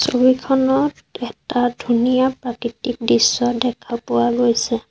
ছবিখনত এটা ধুনীয়া প্ৰাকৃতিক দৃশ্য দেখা পোৱা গৈছে।